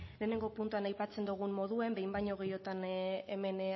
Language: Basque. lehenengo puntuan aipatzen dugun moduan behin baino gehiotan hemen